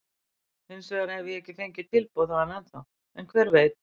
Hinsvegar hef ég ekki fengið tilboð þaðan ennþá, en hver veit?